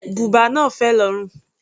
Bùbá náà fẹ̀ lórùn.